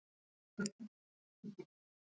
Já, elskan, auðvitað, svaraði móðirin.